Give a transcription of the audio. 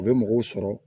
U bɛ mɔgɔw sɔrɔ